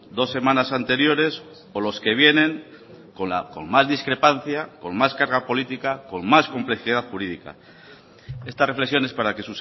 dos semanas anteriores o los que vienen con más discrepancia con más carga política con más complejidad jurídica estas reflexiones para que